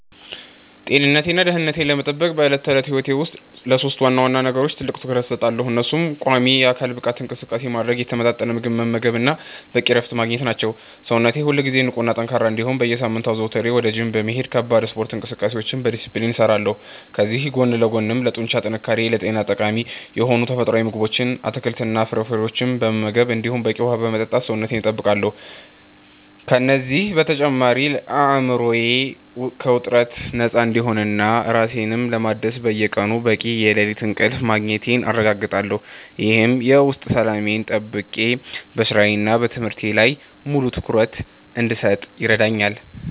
ጤንነቴንና ደህንነቴን ለመጠበቅ በዕለት ተዕለት ሕይወቴ ውስጥ ለሦስት ዋና ዋና ነገሮች ትልቅ ትኩረት እሰጣለሁ፤ እነሱም ቋሚ የአካል ብቃት እንቅስቃሴ ማድረግ፣ የተመጣጠነ ምግብ መመገብ እና በቂ እረፍት ማግኘት ናቸው። ሰውነቴ ሁልጊዜ ንቁና ጠንካራ እንዲሆን በየሳምንቱ አዘውትሬ ወደ ጂም በመሄድ ከባድ ስፖርታዊ እንቅስቃሴዎችን በዲስፕሊን እሰራለሁ፤ ከዚህ ጎን ለጎንም ለጡንቻ ጥንካሬና ለጤና ጠቃሚ የሆኑ ተፈጥሯዊ ምግቦችን፣ አትክልትና ፍራፍሬዎችን በመመገብ እንዲሁም በቂ ውሃ በመጠጣት ሰውነቴን እጠብቃለሁ። ከእነዚህ በተጨማሪ አእምሮዬ ከውጥረት ነፃ እንዲሆንና ራሴን ለማደስ በየቀኑ በቂ የሌሊት እንቅልፍ ማግኘቴን አረጋግጣለሁ፤ ይህም የውስጥ ሰላሜን ጠብቄ በሥራዬና በትምህርቴ ላይ ሙሉ ትኩረት እንድሰጥ ይረዳኛል።